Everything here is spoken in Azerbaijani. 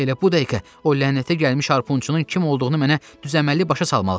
Elə bu dəqiqə o lənətə gəlmiş harpunçunun kim olduğunu mənə düzəməlli başa salmalısız.